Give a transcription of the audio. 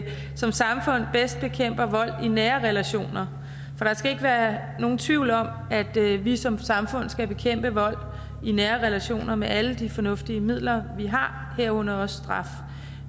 som samfund bedst bekæmper vold i nære relationer der skal ikke være nogen tvivl om at vi som samfund skal bekæmpe vold i nære relationer med alle de fornuftige midler vi har herunder også straf